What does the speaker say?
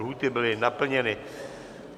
Lhůty byly naplněny.